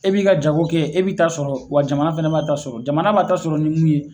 E b'i ka jago kɛ e b'i ta sɔrɔ wa jamana fana b'a ta sɔrɔ jamana b'a ta sɔrɔ ni mun ye